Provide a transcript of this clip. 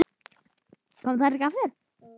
Koma þær ekki aftur?